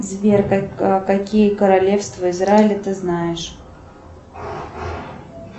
сбер какие королевства израиля ты знаешь